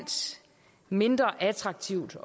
mindre attraktivt